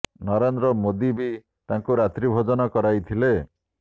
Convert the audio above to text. ନରେନ୍ଦ୍ର ମୋଦି ବି ତାଙ୍କୁ ରାତ୍ରି ଭୋଜନ କରାଇ ଥିଲେ